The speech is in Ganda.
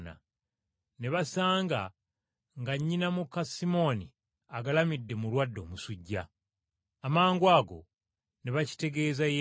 Ne basanga nga nnyina muka Simooni agalamidde mulwadde omusujja. Amangwago ne bakitegeeza Yesu.